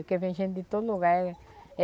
Porque vem gente de todo lugar.